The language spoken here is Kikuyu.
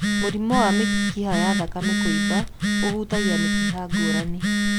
Mũrimũ wa mĩkiha ya thakame kuumba ũhutagia mĩkiha ngũrani.